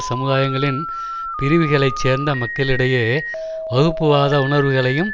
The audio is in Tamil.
சமுதாயங்களின் பிரிவுகளை சேர்ந்த மக்களிடையே வகுப்புவாத உணர்வுகளையும்